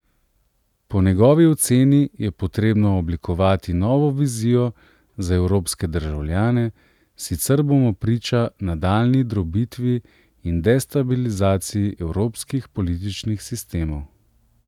Po njegovi oceni je potrebno oblikovati novo vizijo za evropske državljane, sicer bomo priča nadaljnji drobitvi in destabilizaciji evropskih političnih sistemov.